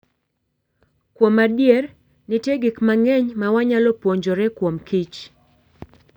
Kuom adier, nitie gik mang'eny ma wanyalo puonjore kuomkich.